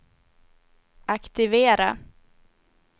aktivera